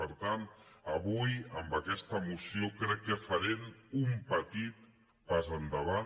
per tant avui amb aquesta moció crec que farem un petit pas endavant